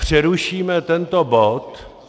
Přerušíme tento bod.